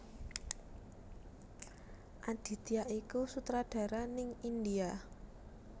Aditya iku sutradara ning India